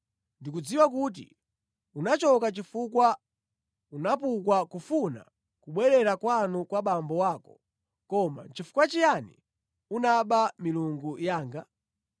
Ndikudziwa kuti unachoka chifukwa unapukwa kufuna kubwerera kwanu kwa abambo ako. Koma nʼchifukwa chiyani unaba milungu yanga?”